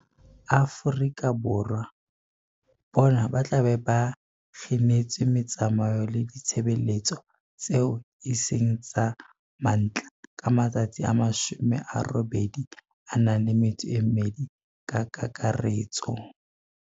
Afrika Borwa, bona ba tla be ba kginetswe metsamao le ditshebeletso tseo e seng tsa mantlha ka matsatsi a 82 ka kakaretso.